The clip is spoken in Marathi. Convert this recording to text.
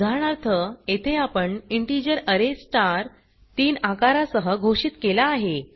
उदाहरणार्थ येथे आपण इंटिजर अरे स्टार 3 आकारा सह घोषित केला आहे